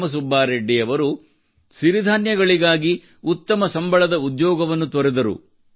ರಾಮ ಸುಬ್ಬಾರೆಡ್ಡಿ ಅವರು ಸಿರಿಧಾನ್ಯಗಳಿಗಾಗಿ ಉತ್ತಮ ಸಂಬಳದ ಉದ್ಯೋಗವನ್ನು ತೊರೆದರು